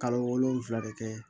Kalo wolonfila bɛ kɛ